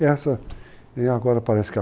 E agora parece que achou o que ele quer.